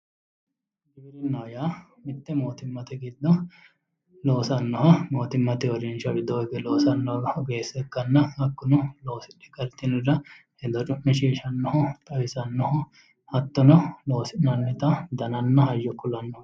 Giwirinnaho yaa mite mootimmate giddo loosanoho mootimmate uurrinsha widooni higge loosanoho oggeessa ikkanna hakkuno loosidhe galitinorira hedo cu'mishishanoho xawisanoho hattono loosi'nannitta dannanna hayyo ku'lannoho.